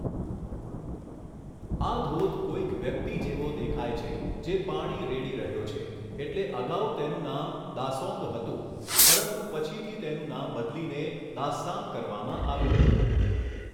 આ ધોધ કોઈક વ્યક્તિ જેવો દેખાય છે જે પાણી રેડી રહ્યો છે એટલે અગાઉ તેનું નામ 'દાસોન્ગ' હતું પરંતુ પછીથી તેનું નામ બદલીને 'દાસ્સામ' કરવામાં આવ્યું હતું.